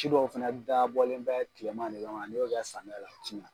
Ci dɔw fɛnɛ dabɔlen bɛ kilema de ka man ni yo kɛ samiya la o ti ɲan.